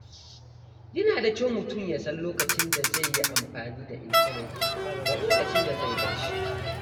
Yana da kyau mutum ya san lokacin da zai yi amfani da intanet da lokacin da zai bar shi.